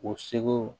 O segu